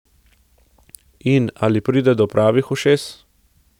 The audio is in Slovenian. In ali pride do pravih ušes?